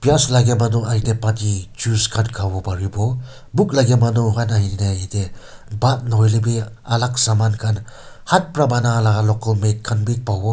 pias lage manu khan ite pani juice khan kha wo paribo bhook lage manu khan ahine itey bhaat nohoilebi alak saman khan hath para banai laga local made khan bi pawo.